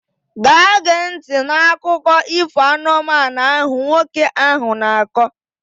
Gaa gee ntị n'akụkọ ifo anụmanụ ahụ nwoke ahụ na-akọ!